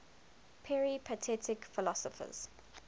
peripatetic philosophers